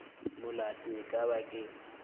molato e ka ba ke